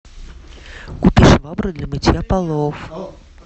купи швабру для мытья полов